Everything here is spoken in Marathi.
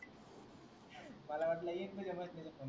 मला वाटला एकपण